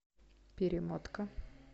перемотка